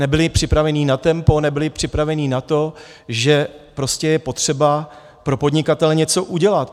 Nebyli připraveni na tempo, nebyli přepraveni na to, že prostě je potřeba pro podnikatele něco udělat.